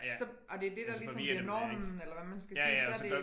Så og det det der ligesom bliver normen eller hvad man skal sige så det